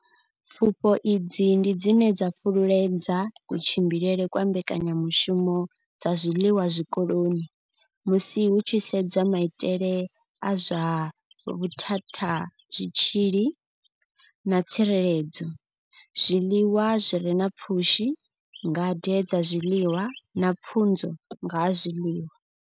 Pfufho idzi ndi dzine dza fhululedza kutshimbidzelwe kwa mbekanyamushumo dza zwiḽiwa zwikoloni musi hu tshi sedzwa maitele a zwa vhuthathazwitzhili na tsireledzo, zwiḽiwa zwi re na pfushi, ngade dza zwiḽiwa na pfunzo dza nga ha zwiḽiwa.